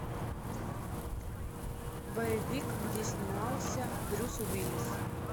боевик где снимался брюс уиллис